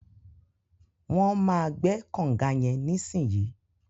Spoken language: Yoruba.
Wọn má gbẹ̀ kọ̀nga yẹn nisinyi.